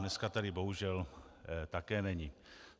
Dneska tady bohužel také není.